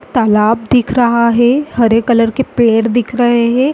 तालाब दिख रहा है हरे कलर के पेड़ दिख रहे हैं।